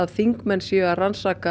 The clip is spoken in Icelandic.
þingmenn séu að rannsaka